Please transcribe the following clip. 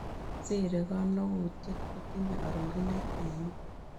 Siri kanogutyet kotinye arorunet ainon